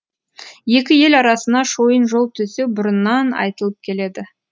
екі ел арасына шойын жол төсеу бұрыннан айтылып келеді